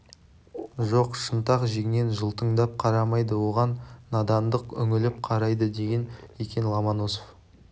жоқ шынтақ жеңнен жылтыңдап қарамайды оған надандық үңіліп қарайды деген екен ломоносов